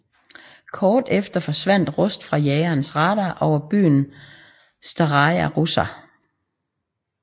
Kort derefter forsvandt Rust fra jagernes radar over byen Staraja Russa